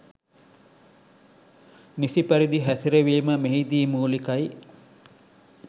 නිසි පරිදි හැසිරවීම මෙහිදී මූලිකයි